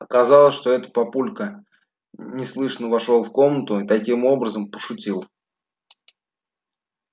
оказалось что это папулька неслышно вошёл в комнату и таким образом пошутил